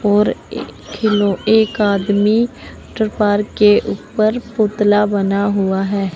और ए एक आदमी के ऊपर पुतला बना हुआ है।